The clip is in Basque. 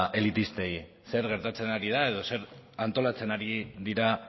elitistei zer gertatzen ari da edo zer antolatzen ari dira